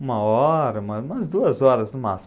Uma hora, uma umas duas horas no máximo.